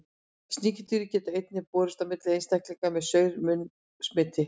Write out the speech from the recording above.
Sníkjudýrið getur einnig borist á milli einstaklinga með saur-munn smiti.